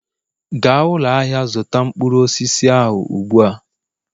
gaa ụlọ ahịa zụta mkpụrụ osisi ahụ ugbu a!